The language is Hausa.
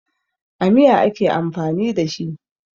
A miya ake amfani da shi.